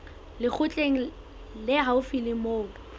lekgotleng le haufi le moo